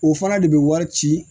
O fana de bɛ wari ci